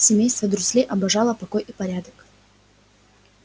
семейство дурслей обожало покой и порядок